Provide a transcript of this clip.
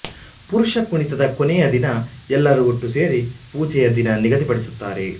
ಪುರುಷ ಕುಣಿತದ ಕೊನೆಯ ದಿನ ಎಲ್ಲರೂ ಒಟ್ಟು ಸೇರಿ ಪೂಜೆಯ ದಿನ ನಿಗದಿ ಪಡಿಸುತ್ತಾರೆ